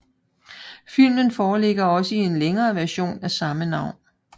Filmen foreligger også i en længere version med samme navn